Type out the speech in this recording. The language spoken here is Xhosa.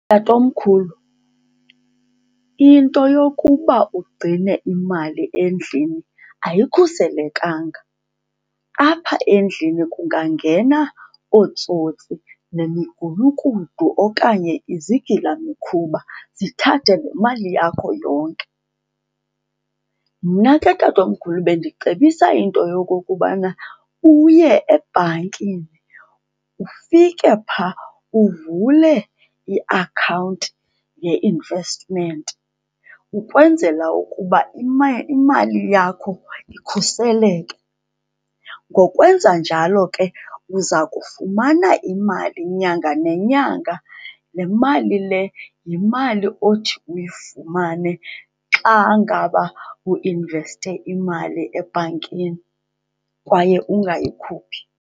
Tatomkhulu, into yokuba ugcine imali endlini ayikhuselekanga. Apha endlini kungangena ootsotsi nemigulukudu okanye izigilamkhuba zithathe le mali yakho yonke. Mna ke, tatomkhulu, bendicebisa into yokokubana uye ebhankini, ufike phaa uvule iakhawunti ye-investment ukwenzela ukuba imali yakho ikhuseleke. Ngokwenza njalo ke, uza kufumana imali nyanga nenyanga. Le mali le yimali othi uyifumane xa ngaba uinveste imali ebhankini kwaye ungayikhuphi.